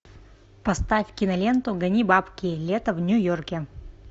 поставь киноленту гони бабки лето в нью йорке